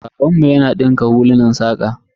Babanmu yana dinka hulunan saƙa.